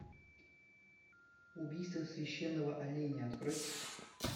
убийство священного оленя открой